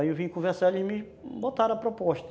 Aí eu vim conversar, eles me botaram a proposta.